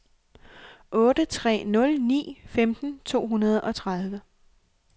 otte tre nul ni femten to hundrede og tredive